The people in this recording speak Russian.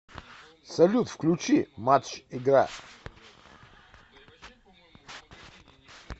салют включи матч игра